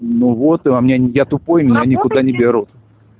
ну вот и у меня нет я тупой меня никуда не берут